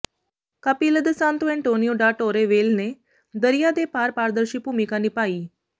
Capela de Santo Antonio da Torre Velha ਨੇ ਦਰਿਆ ਦੇ ਪਾਰ ਪਾਰਦਰਸ਼ੀ ਭੂਮਿਕਾ ਨਿਭਾਈ